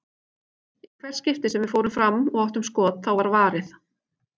Í hvert skipti sem við fórum fram og áttum skot, þá var varið.